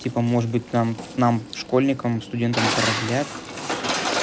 типа может быть там нам школьникам студентам продлят